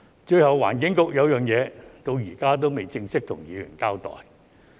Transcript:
最後，環境局有一件事到現在仍未正式向議員交代。